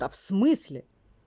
да в смысле